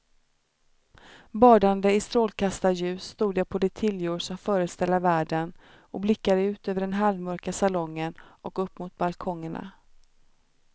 Badande i strålkastarljus stod jag på de tiljor som föreställa världen och blickade ut över den halvmörka salongen och upp mot balkongerna.